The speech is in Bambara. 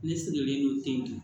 Ne sigilen don ten